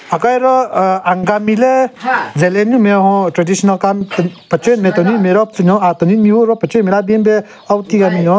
Aka hiaro aaa Angami le Zeliang nyo nme hon traditional kanyü pachenyu nme tenunyu nme ro pvu nyon ahh tenunyu mehvu ro pechenyu nme le aben pe ahvu ti ka binyon.